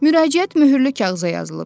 Müraciət möhürlü kağıza yazılıb.